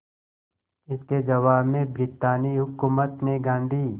इसके जवाब में ब्रितानी हुकूमत ने गांधी